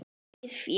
Eigið fé